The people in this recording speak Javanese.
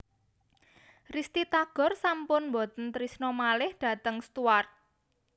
Risty Tagor sampun mboten trisno malih dateng Stuart